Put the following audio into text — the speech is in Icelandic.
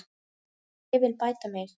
Ég vil bæta mig.